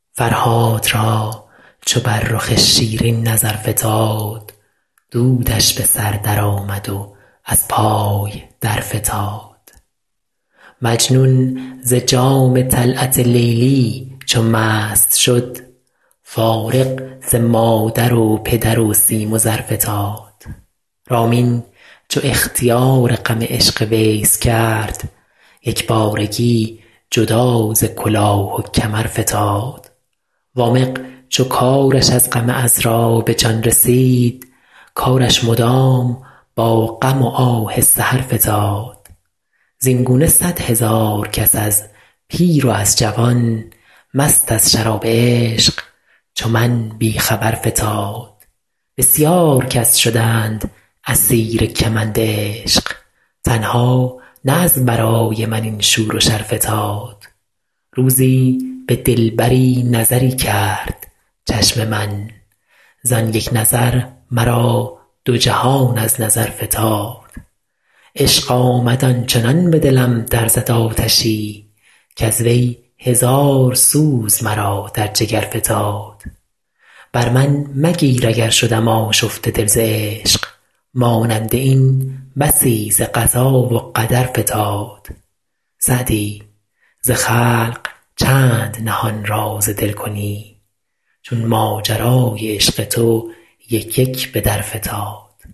فرهاد را چو بر رخ شیرین نظر فتاد دودش به سر درآمد و از پای درفتاد مجنون ز جام طلعت لیلی چو مست شد فارغ ز مادر و پدر و سیم و زر فتاد رامین چو اختیار غم عشق ویس کرد یک بارگی جدا ز کلاه و کمر فتاد وامق چو کارش از غم عـذرا به جان رسید کارش مدام با غم و آه سحر فتاد زین گونه صدهزار کس از پیر و از جوان مست از شراب عشق چو من بی خبر فتاد بسیار کس شدند اسیر کمند عشق تنها نه از برای من این شور و شر فتاد روزی به دلبری نظری کرد چشم من زان یک نظر مرا دو جهان از نظر فتاد عشق آمد آن چنان به دلم در زد آتشی کز وی هزار سوز مرا در جگر فتاد بر من مگیر اگر شدم آشفته دل ز عشق مانند این بسی ز قضا و قدر فتاد سعدی ز خلق چند نهان راز دل کنی چون ماجرای عشق تو یک یک به در فتاد